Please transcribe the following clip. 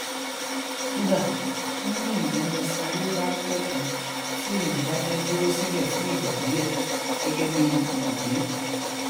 kódà wọn ní ènìyàn lè sanwó ránpẹ kan tí ènìyàn bá fẹ dúró síbẹ fún ìgbà díẹ gẹgẹ bí ibùgbé